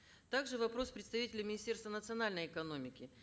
также вопрос к представителю министерства национальной экономики